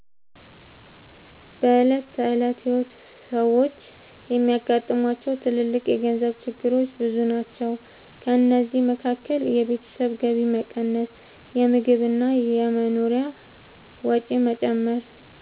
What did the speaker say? በዕለት ተዕለት ሕይወት ሰዎች የሚያጋጥሟቸው ትልልቅ የገንዘብ ችግሮች ብዙ ናቸው። ከእነዚህ መካከል የቤተሰብ ገቢ መቀነስ፣ የምግብ እና የመኖሪያ ወጪ መጨመር፣